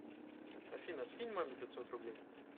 афина скинь маме пятьсот рублей